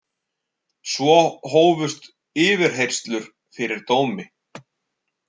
Og svo hófust yfirheyrslur fyrir dómi.